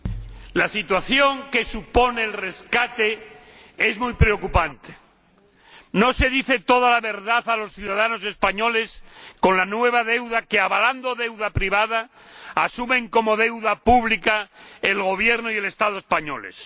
Señor Presidente, la situación que supone el rescate es muy preocupante. No se dice toda la verdad a los ciudadanos españoles sobre la nueva deuda que, avalando deuda privada, asumen como deuda pública el Gobierno y el Estado españoles.